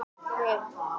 Bókin með TeX forritinu.